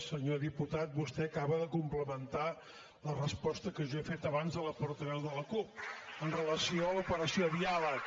senyor diputat vostè acaba de complementar la resposta que jo he fet abans a la portaveu de la cup amb relació a l’operació diàleg